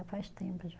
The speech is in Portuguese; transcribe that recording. Faz tempo já.